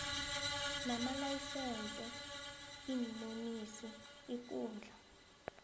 namalayisense iinonisi ukudla